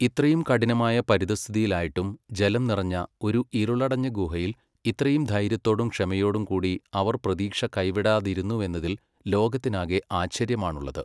ഇത്രയും കഠിനമായ പരിതഃസ്ഥിതിയിലായിട്ടും ജലം നിറഞ്ഞ, ഒരു ഇരുളടഞ്ഞ ഗുഹയിൽ ഇത്രയും ധൈര്യത്തോടും ക്ഷമയോടും കൂടി അവർ പ്രതീക്ഷ കൈവിടാതിരുന്നുവെന്നതിൽ ലോകത്തിനാകെ ആശ്ചര്യമാണുള്ളത്.